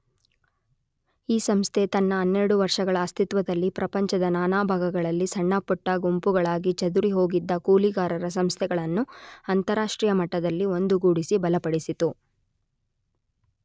ಈ ಸಂಸ್ಥೆ ತನ್ನ ಹನ್ನೆರಡು ವರ್ಷಗಳ ಅಸ್ತಿತ್ವದಲ್ಲಿ ಪ್ರಪಂಚದ ನಾನಾ ಭಾಗಗಳಲ್ಲಿ ಸಣ್ಣಪುಟ್ಟ ಗುಂಪುಗಳಾಗಿ ಚದುರಿಹೋಗಿದ್ದ ಕೂಲಿಗಾರರ ಸಂಸ್ಥೆಗಳನ್ನು ಅಂತಾರಾಷ್ಟ್ರೀಯ ಮಟ್ಟದಲ್ಲಿ ಒಂದುಗೂಡಿಸಿ ಬಲಪಡಿಸಿತು.